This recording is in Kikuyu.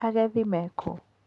Agethi me kũ?